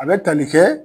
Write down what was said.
A bɛ tali kɛ